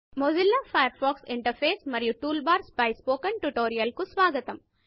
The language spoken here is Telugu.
మొజిల్లా ఫయర్ ఫాక్స్ ఇంటర్ఫేస్ మరియు టూల్ బార్స్ పై స్పోకెన్ ట్యుటోరియల్ కు స్వాగతము